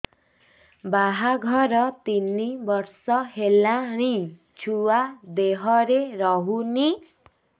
ବାହାଘର ତିନି ବର୍ଷ ହେଲାଣି ଛୁଆ ଦେହରେ ରହୁନି